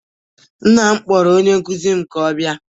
Nna m kpọrọ onye nkụzi m ka ọ bịa